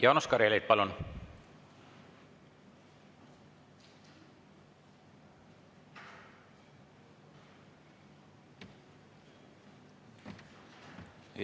Jaanus Karilaid, palun!